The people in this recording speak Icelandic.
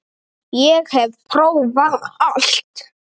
Ég hef prófað allt!